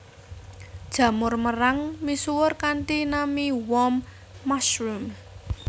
Jamur merang misuwur kanthi nami warm mushroom